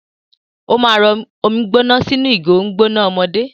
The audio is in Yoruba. Ó máa rọ omi gbóná sínú ìgò omi gbóná ọmọdé.